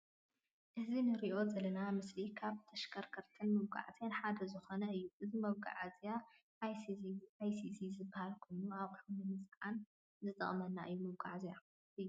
እዚ እንርእዮ ዘለና ምስሊ ካብ ተሽከርከርክትን መጓዓዝያን ሓደ ዝኮነ እዩ። እዚ መጓዓዝያ ኣይስዚ ዝባሃል ኮይኑ ኣቅሑት ንምፅዓን ዝጠቅመና እዩ መጓዓዝያ እዩ።